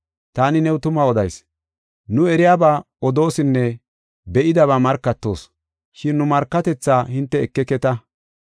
Taani new tuma odayis; nu eriyaba odoosinne be7idaba markatoos, shin nu markatethaa hinte ekeketa.